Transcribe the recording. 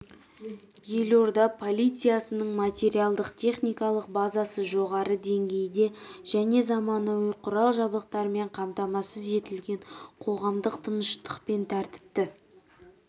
елорда полициясының материалдық-техникалық базасы жоғары деңгейде және заманауи құрал-жабдықтармен қамтамасыз етілген қоғамдық тыныштық пен тәртіпті